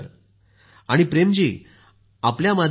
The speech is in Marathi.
आणि प्रेम जी आपल्या माध्यमातून